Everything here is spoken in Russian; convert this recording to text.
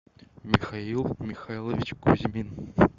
михаил михайлович кузьмин